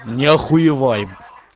не охуеваем